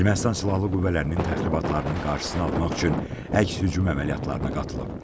Ermənistan silahlı qüvvələrinin təxribatlarının qarşısını almaq üçün əks hücum əməliyyatlarına qatılıb.